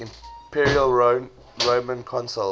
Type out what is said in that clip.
imperial roman consuls